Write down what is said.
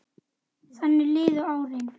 Þannig liðu árin.